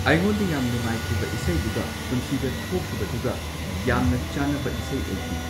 ꯑꯩꯉꯣꯟꯗ ꯌꯥꯝ ꯅꯨꯡꯉꯥꯏꯈꯤꯕ ꯏꯁꯩꯗꯨꯒ ꯄꯨꯟꯁꯤꯗ ꯊꯣꯛꯈꯤꯕꯗꯨꯒ ꯌꯥꯝꯅ ꯆꯥꯅꯕ ꯏꯁꯩ ꯑꯣꯏꯈꯤ꯫